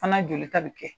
Fana jolita bɛ kɛ